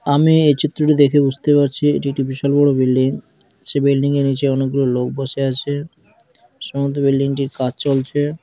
আমি এই চিত্রটি দেখে বুঝতে পারছি এটি একটি বিশাল বড়ো বিল্ডিং সে বিল্ডিংয়ের নিচে অনেকগুলো লোক বসে আছে সম্ভবত বিল্ডিং টির কাজ চলছে।